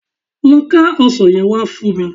Lọ ká ọsàn yẹn wá fún mi